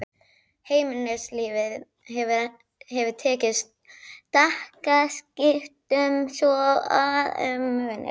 Heimilislífið hefur tekið stakkaskiptum svo að um munar.